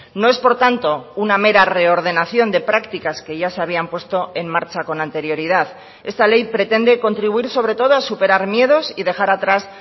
no es por tanto una mera reordenación de prácticas que ya se habían puesto en marcha con anterioridad esta ley pretende contribuir sobre todo a superar miedos y dejar atrás